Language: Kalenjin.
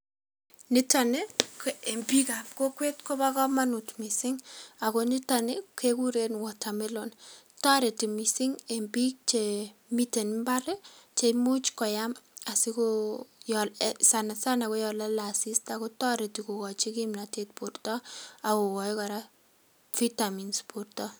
Nito ni ko en biikab kokwet kobo komonut missing ako nito ni kekuren Watermelon, toreti mising en biik chemiten mbar cheimuch koyam asikoo sanasana koyon lole asista kotoreti kokochi kipnotet borto akoi kora vitamins borto.